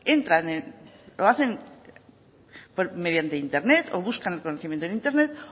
entran o lo hacen mediante internet o buscan conocimiento en internet